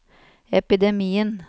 epidemien